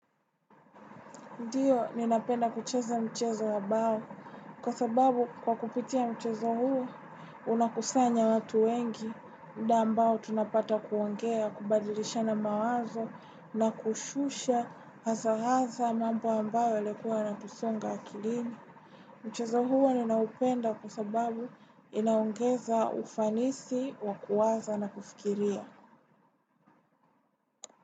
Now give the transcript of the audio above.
Ndiyo, ninapenda kucheza mchezo wabawo kwa sababu kwa kupitia mchezo huo unakusanya watu wengi muda ambao tunapata kuongea kubadilishana mawazo na kushusha hazahaza mambo ambayo yalikuwa yanatusunga akilini. Mchezo huo ninapenda kwa sababu inaongeza ufanisi wakuwaza na kufikiria.